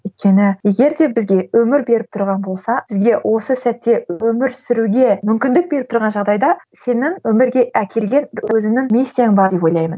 өйткені егер де бізге өмір беріп тұрған болса бізге осы сәтте өмір сүруге мүмкіндік беріп тұрған жағдайда сенің өмірге әкелген өзіңнің миссияң бар деп ойлаймын